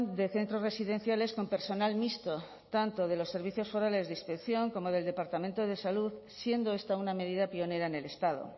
de centros residenciales con personal mixto tanto de los servicios forales de inspección como del departamento de salud siendo esta una medida pionera en el estado